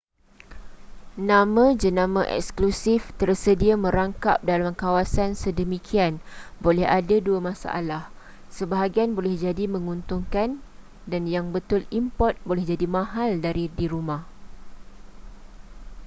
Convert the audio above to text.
nama-jenama eksklusif tersedia merangkap dalam kawasan sedemikian boleh ada dua masalah sebahagian boleh jadi menguntungkan dan yang betul import boleh jadi mahal dari di rumah